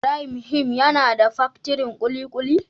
Ibrahim him yana da paktirin kulikuli.